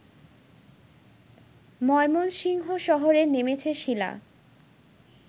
ময়মনসিংহ শহরে থেমেছে শীলা